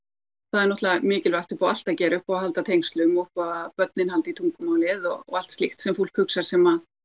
það er náttúrulega mikilvægt upp á allt að gera upp á að halda tengslum að börnin haldi í tungumálið og allt slíkt sem fólk hugsar sem